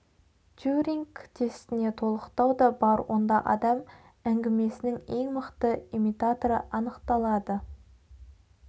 тьюринг тестіне толықтау да бар онда адам әңгімесінің ең мықты имитаторы анықталады